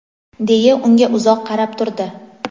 deya unga uzoq qarab turdi.